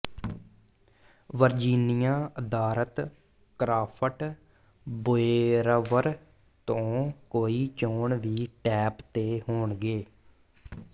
Virginia ਆਧਾਰਤ craft brewer ਤੋਂ ਕਈ ਚੋਣ ਵੀ ਟੈਪ ਤੇ ਹੋਣਗੇ